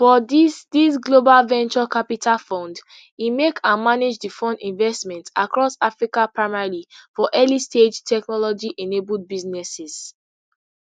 for dis dis global venture capital fund e make and manage di fund investments across africa primarily for earlystage technologyenabled businesses